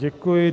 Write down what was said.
Děkuji.